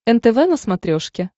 нтв на смотрешке